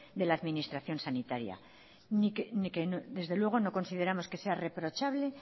de la administración sanitaria y que desde luego no consideramos que sea reprochable